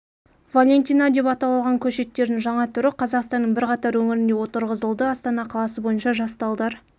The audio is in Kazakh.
валентина деп атау алған көшеттердің жаңа түрі қазақстанның бірқатар өңірінде отырғызылды астана қаласы бойынша жас талдар